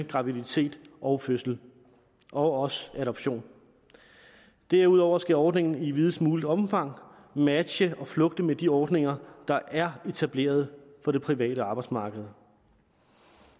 graviditet og fødsel og også adoption derudover skal ordningen i videst muligt omfang matche og flugte med de ordninger der er etableret på det private arbejdsmarked